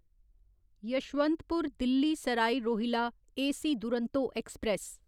Yesvantpur Delhi Sarai Rohilla AC Duronto express